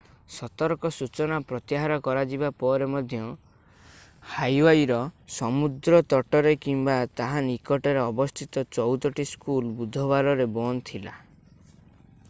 ସତର୍କ ସୂଚନା ପ୍ରତ୍ୟାହାର କରାଯିବା ପରେ ମଧ୍ୟ ହାୱାଇର ସମୁଦ୍ର ତଟରେ କିମ୍ବା ତାହା ନିକଟରେ ଅବସ୍ଥିତ ଚଉଦଟି ସ୍କୁଲ ବୁଧବାରରେ ବନ୍ଦ ଥିଲା